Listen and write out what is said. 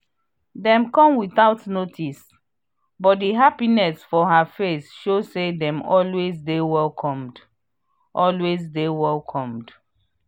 dem come without notice but di happiness for her face show say dem always dey welcomed. always dey welcomed.